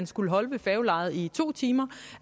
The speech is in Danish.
skulle holde ved færgelejet i to timer